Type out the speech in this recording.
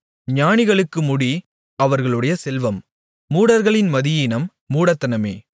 ஞானிகளுக்கு முடி அவர்களுடைய செல்வம் மூடர்களின் மதியீனம் மூடத்தனமே